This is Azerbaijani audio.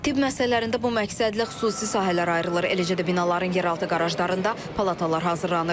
Tibb müəssisələrində bu məqsədlə xüsusi sahələr ayrılır, eləcə də binaların yeraltı qarajlarında palatalar hazırlanır.